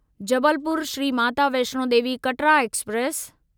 Jabalpur Shri Mata Vaishno Devi Katra express